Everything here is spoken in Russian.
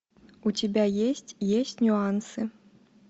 у тебя есть есть нюансы